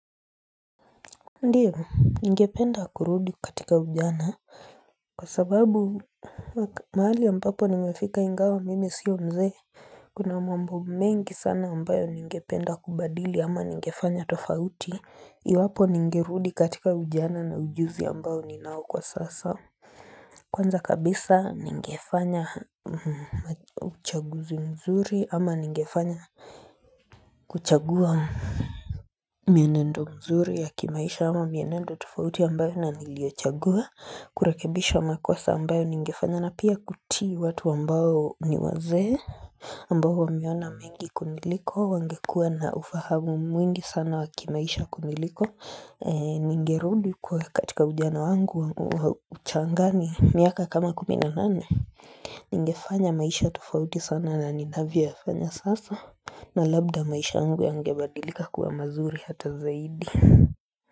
Ndiyo ningependa kurudi katika ujana Kwa sababu mahali ambapo nimefika ingawa mimi sio mzee Kuna mambo mengi sana ambayo ningependa kubadili ama ningefanya tofauti Iwapo ningerudi katika ujana na ujuzi ambao ninao kwa sasa Kwanza kabisa ningefanya uchaguzi mzuri ama ningefanya kuchagua mienendo mzuri ya kimaisha wa mienendo tofauti ambayo na niliochagua kurekebisha makosa ambayo ningefanya na pia kutii watu ambao ni wazee ambao wameona mengi kuniliko wangekua na ufahamu mwingi sana wa kimaisha kuniliko Ningerudi kwa katika ujana wangu wa uchangani miaka kama kumi na nane Ningefanya maisha tofauti sana na ninavyoyafanya sasa na labda maisha yangu yangebadilika kuwa mazuri hata zaidi.